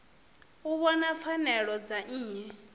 u vhona pfanelo dza nnyi